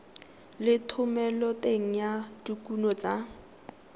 le thomeloteng ya dikuno tsa